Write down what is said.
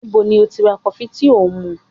Níbo ni ó ti ra kọfí tí ò ń mu?